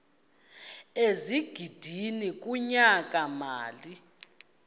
ezigidi kunyaka mali